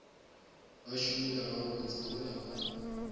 ba šomile gabotse mola ba